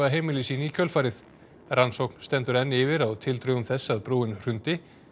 heimili sín í kjölfarið rannsókn stendur enn yfir á tildrögum þess að brúin hrundi